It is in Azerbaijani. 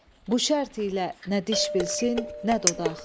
Bu şərt ilə nə diş bilsin, nə dodaq.